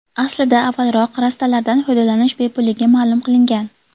Aslida, avvalroq rastalardan foydalanish bepulligi ma’lum qilingan.